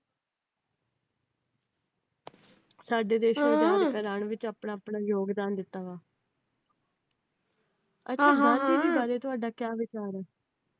ਸਾਡੇ ਦੇਸ਼ ਨੂੰ ਆਜ਼ਾਦ ਕਰਾਉਣ ਵਿੱਚ ਆਪਣਾ ਆਪਣਾ ਯੋਗਦਾਨ ਦਿੱਤਾ ਵਾ । ਅੱਛਾ ਗਾਂਧੀ ਜੀ ਬਾਰੇ ਤੁਹਾਡਾ ਕਿਆ ਵਿਚਾਰ ਆ?